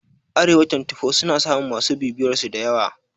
Arewa twantifo suna samun masu bibiyarsu dayawa